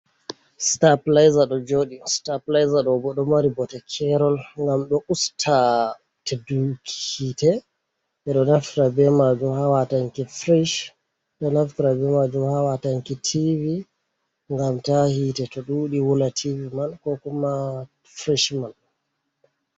Stap plyser ɗo joɗi, sta pleyser ɗo bo ɗo mari bote kerol ngam ɗo usta teɗuki hitte, nde ɓeɗo naftira be majum ha watanki frish, ɓeɗo naftra be majum ha watanki tivi ngam ta htite to ɗuɗi wula tivi man, ko kuma frish mai.